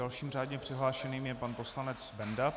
Dalším řádně přihlášeným je pan poslanec Benda.